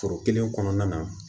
Foro kelen kɔnɔna na